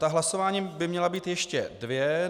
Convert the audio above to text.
Ta hlasování by měla být ještě dvě.